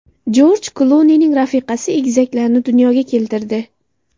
Jorj Klunining rafiqasi egizaklarni dunyoga keltirdi.